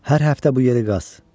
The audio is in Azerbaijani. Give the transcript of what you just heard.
Hər həftə bu yeri qaz.